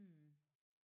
Mh